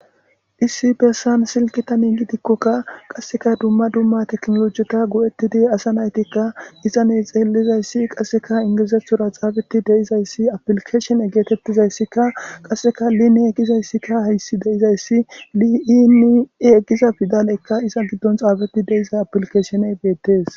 issi bessan silkita nin gidikkokka qasseka dumma dumma teknolojita gu7ettidi asa naytikka isane xeellizayssi qasseka ingizethura xaabeti deizayssi aplkeeshen egeetettizayssikka qasseka line egizayssikka hayssi deizayssi li7inii eggiza fidalekka iza giddon xaabeti deiza aplkesheney beettees